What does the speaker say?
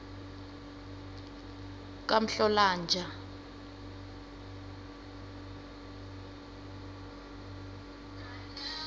kamhlolanja